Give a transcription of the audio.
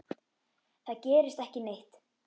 Það gerist ekki neitt.